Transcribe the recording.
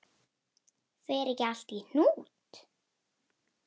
Fer ekki allt í hnút?